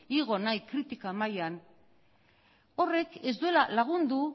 igo nahi kritika mailan horrek ez duela lagundu